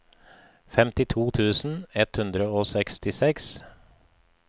femtito tusen ett hundre og sekstiseks